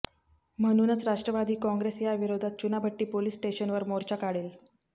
म्हणूनच राष्ट्रवादी काँग्रेस याविरोधात चुनाभट्टी पोलीस स्टेशनवर मोर्चा काढेल